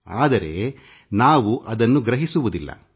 ಆದರೆ ನಾವು ಅದನ್ನು ಗ್ರಹಿಸುವುದಿಲ್ಲ